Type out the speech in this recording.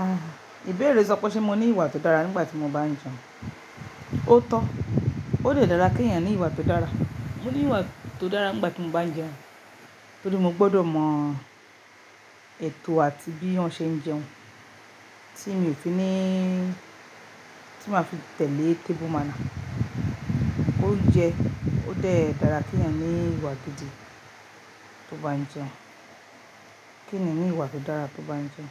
Ah! Ìbéèrè sọ pé ṣe mo ní ìwà tó dára nígbà tí mo bá ń jẹun. O tó. Ó lè dára kí èèyàn ní ìwà tó dára. Mo ní ìwà tó dára nígbà tí mo bá ń jẹun, torí mo gbọ́dọ̀ mọ ètò àti bí òun ṣe ń jẹun tí mi ò fi níí, tí màá fi tẹ̀lé tébùú manner oúnjẹ, ó dé dára kí èèyàn ní ìwà gidi tó bá ń jẹun. Kí ènìyàn ni ìwà tó dára tó bá ń jẹun?